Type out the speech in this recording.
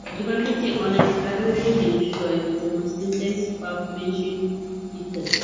দোকানটিতে অনেক হার্ডওয়ার এর জিনিস রয়েছে যেমন সিনটেন্স পাম্প মেশিন ইত্যাদি।